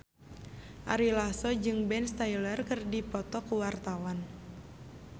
Ari Lasso jeung Ben Stiller keur dipoto ku wartawan